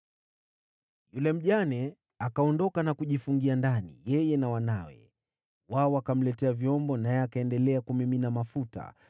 Yule mjane akaondoka na kujifungia ndani, yeye na wanawe. Wao wakamletea vyombo, naye akaendelea kumimina mafuta.